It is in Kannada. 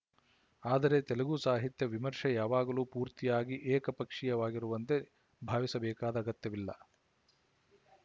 ಆದರೆ ತೆಲುಗು ಸಾಹಿತ್ಯ ವಿಮರ್ಷೆ ಯಾವಾಗಲೂ ಪೂರ್ತಿಯಾಗಿ ಏಕಪಕ್ಷವಾಗಿರುವಂತೆ ಭಾವಿಸಬೇಕಾದ ಅಗತ್ಯವಿಲ್ಲ